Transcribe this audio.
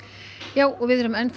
já við erum enn